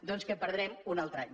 doncs que perdrem un altre any